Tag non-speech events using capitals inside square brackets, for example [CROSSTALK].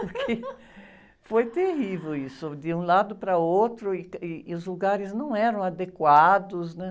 Porque foi terrível isso, de um lado para outro, e, [UNINTELLIGIBLE] ih, ih, e os lugares não eram adequados, né?